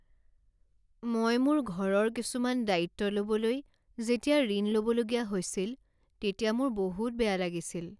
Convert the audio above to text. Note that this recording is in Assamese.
মই মোৰ ঘৰৰ কিছুমান দায়িত্ব ল'বলৈ যেতিয়া ঋণ ল'বলগীয়া হৈছিল তেতিয়া মোৰ বহুত বেয়া লাগিছিল।